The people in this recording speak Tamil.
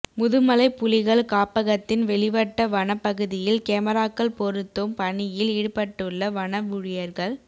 முதுமலை புலிகள் காப்பகத்தின் வெளிவட்ட வனப் பகுதியில் கேமராக்கள் பொருத்தும் பணியில் ஈடுபட்டுள்ள வன ஊழியா்கள்